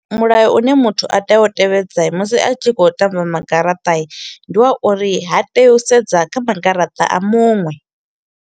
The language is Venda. Mulayo u ne muthu a tea u tevhedza musi a tshi kho u tamba magaraṱa i, ndi wa uri ha tei u sedza kha magaraṱa a muṅwe.